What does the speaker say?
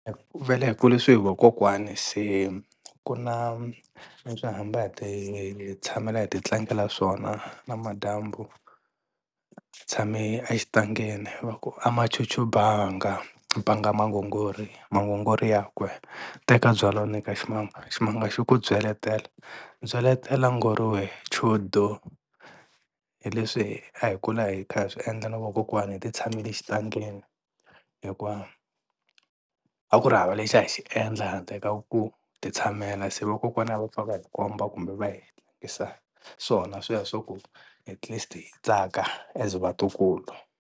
Vhele hi kulisiwe hi vakokwani se ku na leswi hi hamba hi ti tshamela hi ti tlangela swona na madyambu tshame exitangeni va ku ama cucu banga, banga mangongori, mangongori ya kwe teka byalwa u nyika ximanga, ximanga xi ku byeletela, byaletela ngoriwe chudu, hi leswi a hi kula hi kha hi swi endla na vakokwani hi ti tshamele exitangeni hikuva a ku ri hava lexi a hi xi endla handle ka ku ti tshamela se vakokwana a va pfa va hi komba kumbe va hi endlisa swona sweswo ku at least hi tsaka as vatukulu.